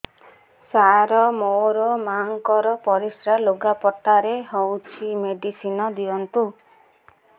ସାର ମୋର ମାଆଙ୍କର ପରିସ୍ରା ଲୁଗାପଟା ରେ ହଉଚି ମେଡିସିନ ଦିଅନ୍ତୁ